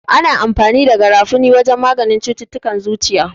Ana amfani da garafuni wajen maganin cututtukan zuciya.